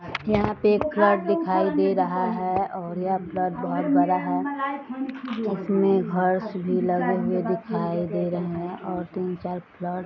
यहाँ पे एक फ्लैट दिखाई दे रहा है और यह फ्लैट बोहोत बड़ा है इसमें भी लगे हुए दिखाई दे रहे हैं और तीन-चार --